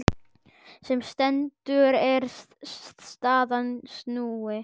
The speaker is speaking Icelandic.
Sem stendur er staðan snúin.